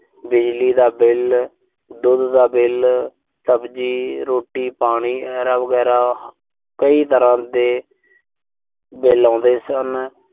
ਬਿਜਲੀ ਦਾ ਬਿੱਲ। ਦੁੱਧ ਦਾ ਬਿੱਲ। ਸਬਜ਼ੀ, ਰੋਟੀ-ਪਾਣੀ ਐਰਾ-ਵਗੈਰਾ। ਕਈ ਤਰ੍ਹਾਂ ਦੇ ਬਿੱਲ ਆਉਂਦੇ ਸਨ।